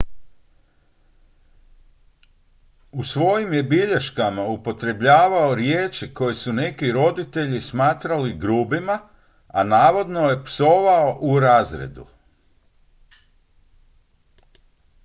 u svojim je bilješkama upotrebljavao riječi koje su neki roditelji smatrali grubima a navodno je psovao u razredu